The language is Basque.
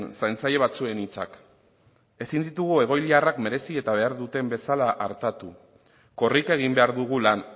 zaintzaile batzuen hitzak ezin ditugu egoiliarrak merezi eta behar duten bezala artatu korrika egin behar dugu lan